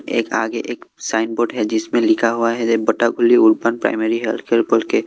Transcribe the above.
एक आगे एक साइन बोर्ड है जिसमें लिखा हुआ है बोटागुली उर्पण प्राइमरी हेल्थ केयर बोल के।